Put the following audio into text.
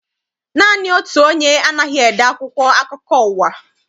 Naanị otu onye anaghị ede akwụkwọ akụkọ ụwa.